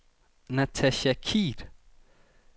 Natacha Kyed